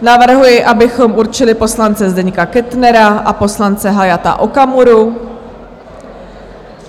Navrhuji, abychom určili poslance Zdeňka Kettnera a poslance Hayata Okamuru.